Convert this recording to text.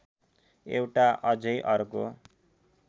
एउटा अझै अर्को